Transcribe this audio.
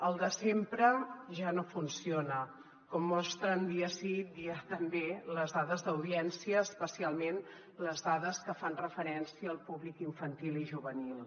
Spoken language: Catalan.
el de sempre ja no funciona com mostren dia sí dia també les dades d’audiència especialment les dades que fan referència al públic infantil i juvenil